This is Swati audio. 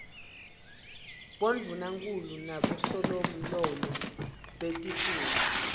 bondvunankhulu nabosomlomo betifundza